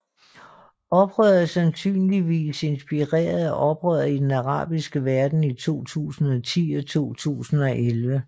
Oprøret er sandsynligvis inspireret af af oprøret i den arabiske verden i 2010 og 2011